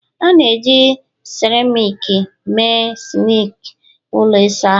A na-eji seramiiki mee sinki ụlọ ịsa ahụ